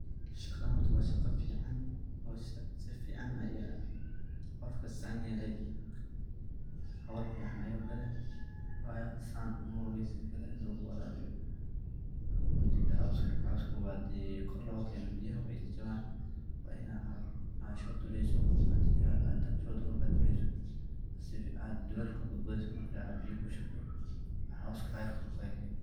Saqadhan horta waa shaqo fican sifican aya qofka san yele, hol fican ayu gale wayo san moye ini sikale lagu warabiyo majirto coska hadi kor logakeno biyaha, way jababayaan wa inad shod duleliso hada shod marka ad duleliso dulelka ad badbadhiso marka ad biyo kushubto ayar coska kor okakento.